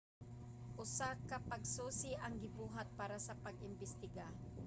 usa ka pagsusi ang gibuhat para sa pag-imbestiga